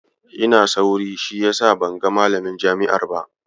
Ina sauri, shi yasa ban ga malamin jami'ar ba.